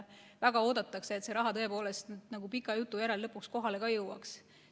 Väga oodatakse, et see raha tõepoolest pika jutu järel lõpuks kohale ka jõuaks.